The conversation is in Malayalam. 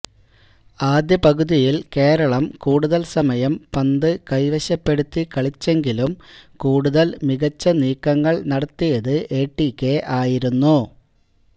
ആദ്യ പകുതിയിൽ കേരളം കൂടുതൽസമയം പന്ത് കൈവശപ്പെടുത്തി കളിച്ചെങ്കിലും കൂടുതൽ മികച്ച നീക്കങ്ങൾ നടത്തിയത് എടികെ ആയിരുന്നു